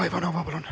Olga Ivanova, palun!